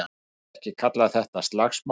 Ég myndi ekki kalla þetta slagsmál.